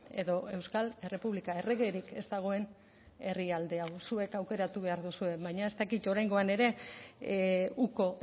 edo euskal errepublika erregerik ez dagoen herrialde hau zuek aukeratu behar duzue baina ez dakit oraingoan ere uko